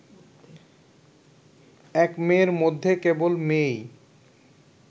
এক মেয়ের মধ্যে কেবল মেয়েই